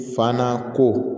Fana ko